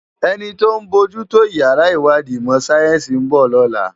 Eni tó n bójù tó iyàrá iwádi imò sáyènsi n bò lòlá